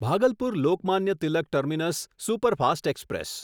Bhagalpur Lokmanya Tilak terminus superfast express